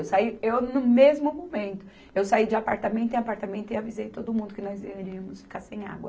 Eu saí, eu no mesmo momento, eu saí de apartamento em apartamento e avisei todo mundo que nós iríamos ficar sem água.